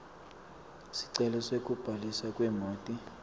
sicelo sekubhaliswa kwemoti